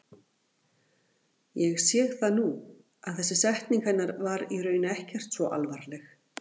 Ég sé það nú að þessi setning hennar var í raun ekkert svo alvarleg.